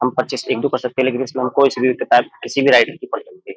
हम पच्चीस एक दो कर सकते हैं लेकिन इसमें हम कोई भी किताब किसी भी राइटर की पढ़ सकते।